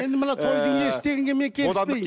енді мына тойдың иесі дегенге мен келіспеймін